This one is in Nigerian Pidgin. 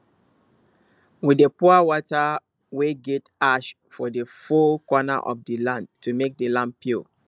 we dey pour water wey get ash for the four corner of the land to make the land pure